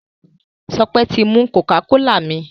Sope tí mú cocacola mí.